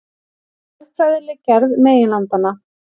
Jarðfræðileg gerð meginlandanna.